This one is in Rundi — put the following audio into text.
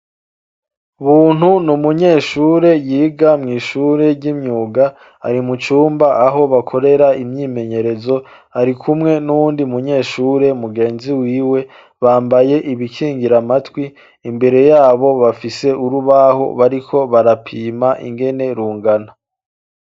buntu ni umunyeshure yiga mw'ishure ishure ry'imyuga ari mucumba aho bakorera imyimenyerezo ari kumwe n'undi munyeshure mugenzi wiwe bambaye ibikingira matwi imbere yabo bafise urubaho bariko barapima ingene rungana